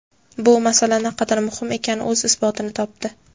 bu masala naqadar muhim ekani o‘z isbotini topdi.